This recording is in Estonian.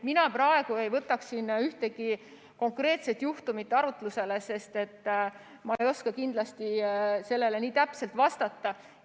Mina praegu ei võtaks siin ühtegi konkreetset juhtumit arutlusele, sest ma ei oska kindlasti nii täpselt vastata.